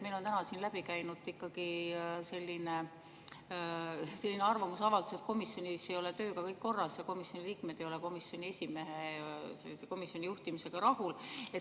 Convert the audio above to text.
Meil on täna siin läbi käinud selline arvamusavaldus, et komisjonis ei ole tööga kõik korras ja komisjoni liikmed ei ole komisjoni esimehe juhtimis rahul.